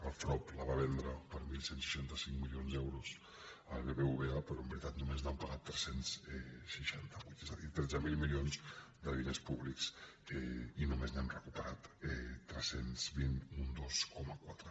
el frob la va vendre per onze seixanta cinc milions d’euros al bbva però en veritat només n’han pagat tres cents i seixanta és a dir tretze mil mili·ons de diners públics i només n’hem recuperat tres cents i vint un dos coma quatre